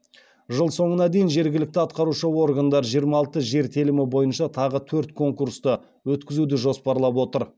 жыл соңына дейін жергілікті атқарушы органдар жиырма алты жер телімі бойынша тағы төрт конкурсты өткізуді жоспарлап отыр